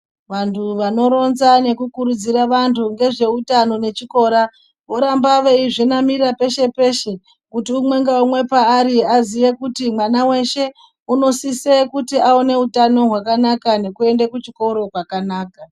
Vantu vanoronza nekukurudzira vantu ngezveutano nechikora voramba veizvinamira peshe-peshe, kuti umwe ngaumwe paari aziye kuti mwana weshe unosise kuti aone utano hwakanaka nekuende kuchikora kwakanaka.